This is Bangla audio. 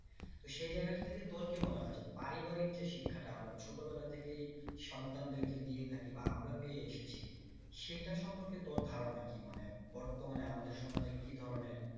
তো সে জায়গা থেকে তোর কি মনে হয় যে পারিবারিক যে শিক্ষাটা আমরা ছোটবেলা থেকেই সন্তানদের দিয়ে থাকি বা আমরা পেয়ে এসেছি সেটার সম্পর্কে তোর ধারনা কি মানে বর্তমানে আমাদের সমাজে কি ধরনের